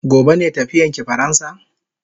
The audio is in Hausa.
Gobe ne tafiyan ki faransa?